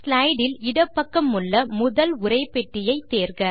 slide இல் இடப்பக்கமுள்ள முதல் உரைப்பெட்டியை தேர்க